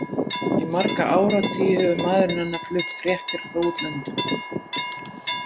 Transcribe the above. Í marga áratugi hefur maðurinn hennar flutt fréttir frá útlöndum.